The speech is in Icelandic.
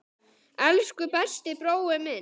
Elsku besti brói minn.